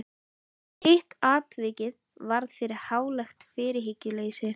Hitt atvikið varð fyrir hlálegt fyrirhyggjuleysi.